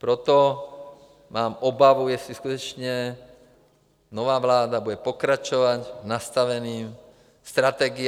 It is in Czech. Proto mám obavu, jestli skutečně nová vláda bude pokračovat v nastavené strategii.